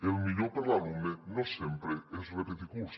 el millor per l’alumne no sempre és repetir curs